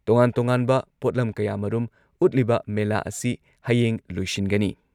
ꯇꯣꯉꯥꯟ-ꯇꯣꯉꯥꯟꯕ ꯄꯣꯠꯂꯝ ꯀꯌꯥꯃꯔꯨꯝ ꯎꯠꯂꯤꯕ ꯃꯦꯂꯥ ꯑꯁꯤ ꯍꯌꯦꯡ ꯂꯣꯏꯁꯤꯟꯒꯅꯤ ꯫